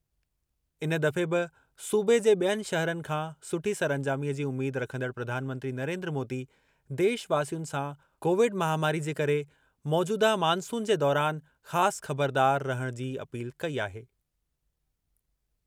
इन दफ़े बि सूबे जे बि॒यनि शहरनि खां सुठी सरअंजामीअ जी उमीद रखंदड़ प्रधानमंत्री नरेन्द्र मोदी देशवासियुनि सां कोविड महामारी जे करे मौजूदह मॉनसून जे दौरान ख़ासि ख़बरदारु रहण जी अपील कई आहे।